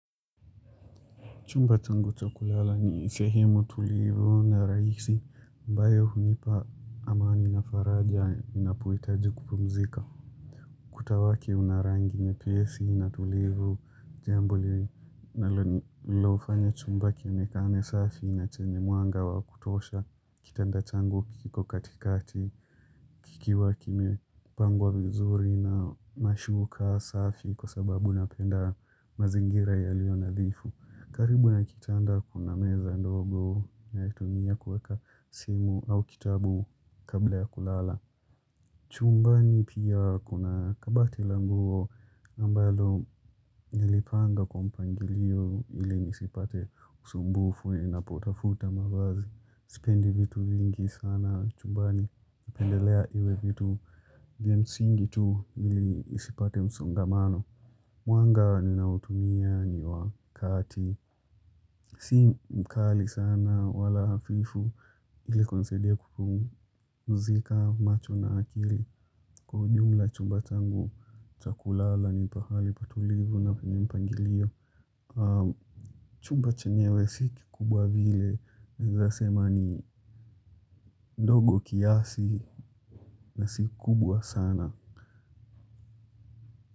Chumba changu cha kulala ni sehemu tulivu na rahisi ambayo hunipa amani na faraja ninapohitaji kupumzika. Kuta wake unarangi nyepesi na tulivu jambo li linalofanya chumba kionekane safi na chenye mwanga wa kutosha kitanda changu kiko katikati kikiwa kime pangwa vizuri na mashuka safi kwa sababu napenda mazingira yalio nadhifu. Karibu na kitanda kuna meza ndogo naitumia kuweka simu au kitabu kabla ya kulala. Chumbani pia kuna kabati la nguo ambalo nilipanga kwa mpangilio ili nisipate usumbufu ninapotafuta mavazi. Sipendi vitu vingi sana chumbani napendelea iwe vitu. Vya msingi tu ili nisipate msongamano. Mwanga ninaotumia ni wakati. Si mkali sana wala hafifu ili kunisaidia kupumzika macho na akili kwa ujumla chumba changu cha kulala ni pahali patulivu na penye mpangilio. Chumba chenyewe si kikubwa vile naeza sema ni ndogo kiasi na si kubwa sana.